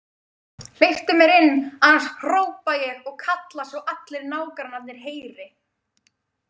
Hleyptu mér inn annars hrópa ég og kalla svo allir nágrannarnir heyri!